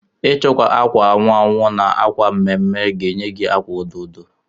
ichikọ agwa anwu anwụ na agwa mme mme ga enye gi agwa odo odo